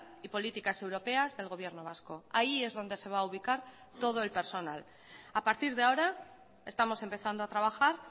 y políticas europeas del gobierno vasco ahí es donde se va a ubicar todo el personal a partir de ahora estamos empezando a trabajar